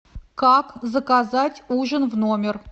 как заказать ужин в номер